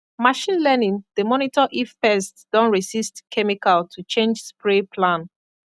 machine learning dey monitor if pest don resist chemical to change spray plan